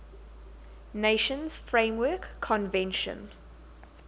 nations framework convention